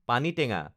পানীটেঙা